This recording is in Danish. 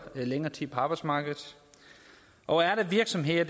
længere tid på arbejdsmarkedet og er der virksomheder